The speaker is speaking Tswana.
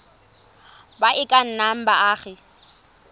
ba e ka nnang baagi